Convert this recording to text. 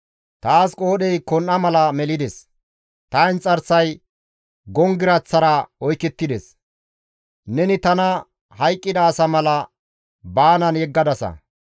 Taas qoodhey kon7a mala melides; ta inxarsay gonggiraththara oykettides; neni tana hayqqida asa mala gudullan baanan yeggadasa.